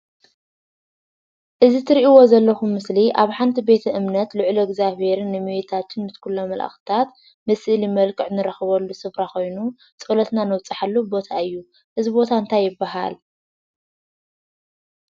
እቲ ትርእይዎ ዘለኹም ምስሊ ኣብ ሓንቲ ቤተ እምነት ንልዑል እግዝኣብሄርን እመቤታችን ኩሎም መላእኽትታት ብስእሊ ምልክዕ እንረኽበሉ ስፍራ ኮይኑ ፀሎትና ነብፀሐሉ ቦታ እዩ። እዙይ ቦታ እንታይ ይብሃል?